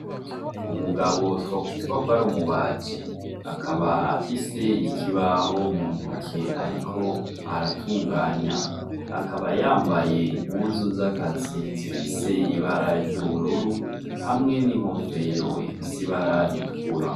Umugabo two kwita kwari umubaji akaba afise ikibaho muntoke ariko aratuganya, akaba yambaye impuzu z'akazi zifise ibara ry'ubururu hamwe n'inkofero ifise ibara ritukura.